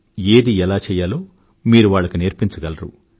ఏది ఎలా చెయ్యాలో మీరు వాళ్ళకి నేర్పించగలరు